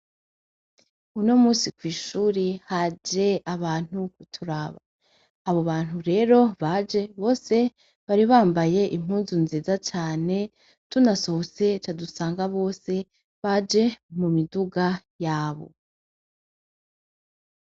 Uno musi kw'ishuri haje abantu kuturaba abo bantu rero baje bose bari bambaye impuzu nziza cane tunasohose cadusanga bose baje mu miduga yabo.